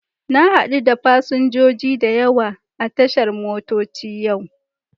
Na hadu da fasinjoji da yawa a tashar motoci yau.